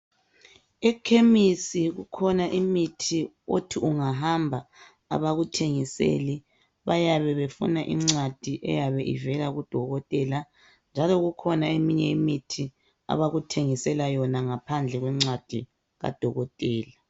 Ekhemisi kukhona imithi othi ungahamba abakuthengiseli bayabe befuna incwadi eyabe ivela kudokotela. Njalo kukhona eminye imithi abakuthengisela yona ngaphandle kwencwadi kadokotela.